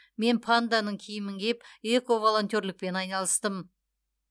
мен панданың киімін киіп эко волонтерлікпен айналыстым